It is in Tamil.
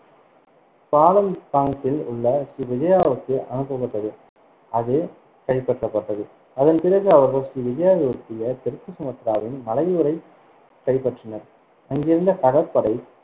பாலம்பாங்கில் உள்ள ஸ்ரீ விஜயாவுக்கு அனுப்பப்பட்டது, அது கைப்பற்றப்பட்டது. அதன் பிறகு, அவர்கள் ஸ்ரீ விஜயாவை ஒட்டிய தெற்கு சுமத்ராவின் மலையூரைக் கைப்பற்றினர். அங்கிருந்த கடற்படை